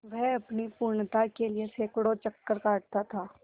वह अपनी पूर्णता के लिए सैंकड़ों चक्कर काटता था